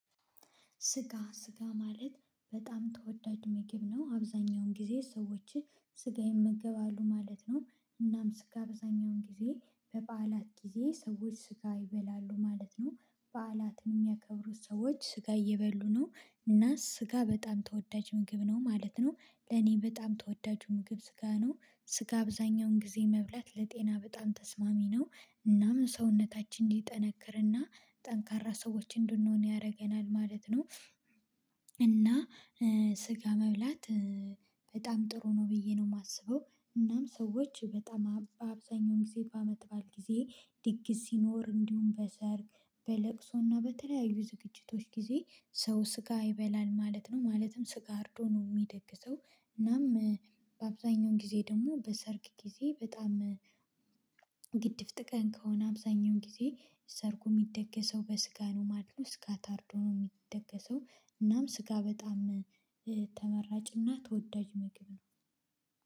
ስጋ ስጋ ማለት በጣም ተወዳጅ ምግብ ነው አብዛኛውን ጊዜ ሰዎችን ስጋ ይመገባሉ ማለት ነው። እናም ስጋ አብዛኛውን ጊዜ በበዓላት ጊዜ ሰዎች ስጋ ይበላሉ ማለት ነው በዓላት የሚያከብሩት ሰዎች ስጋ እየበሉ ነው እና ስጋ በጣም ተወዳጅ ምግብ ነው ማለት ነው። ለእኔ በጣም ተወዳጁ ምግብ ስጋ ነው ስጋ አብዛኛውን ጊዜ መብላት ለጤና በጣም ተስማሚ ነው። እናም ሰውነታችን እንዲጠነክርና ጠንካራ ሰዎች እንድንሆን ያደርገናል ማለት ነው። እና ስጋ መብላት በጣም ጥሩ ነው ብዬ ነው የማስበው። እናም ሰዎች በጣም በአብዛኛውም ጊዜ በመዓት በዓል ጊዜ ድግስ ሲኖር እንዲሁም በሰርግ በለቅሶና በተለያዩ ዝግጅቶች ጊዜ ሰው ስጋ ይበላል ማለት ነው ማለትም ስጋ አርዶ ነው የሚደግሰው። እናም በአብዛኛው ጊዜ ደግሞ በሰርግ ጊዜ በጣም ግድፍ ጥቃን ከሆነ አብዛኛውን ጊዜ ሰርጉ የሚደገሰው በስጋ ነው ማለት ነው ስጋ ታርዶ ነው የሚደገሰው። እናም ስጋ በጣም ተመራጭና ተወዳጅ ምግብ ነው